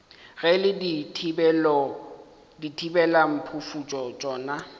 ge e le dithibelamphufutšo tšona